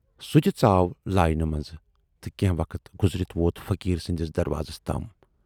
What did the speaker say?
سُہ تہِ ژاو لٲنہِ منز تہٕ کینہہ وقت گُذرِتھ ووت فقیٖر سٕندِس دروازس تام۔